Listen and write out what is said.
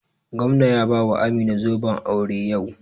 Gwamna ya bawa Amina zoben aure yau.